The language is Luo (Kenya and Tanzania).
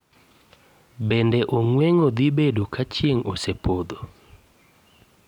Bende ong'weng'o dhi bedo ka chieng' osepodho